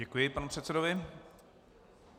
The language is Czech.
Děkuji panu předsedovi.